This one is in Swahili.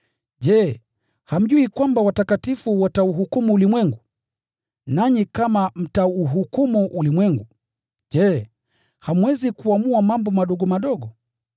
Je, hamjui kwamba watakatifu watauhukumu ulimwengu? Nanyi kama mtauhukumu ulimwengu, je, hamwezi kuamua mambo madogo madogo?